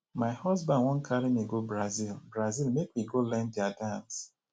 my husband wan carry me go brazil brazil make we go learn their dance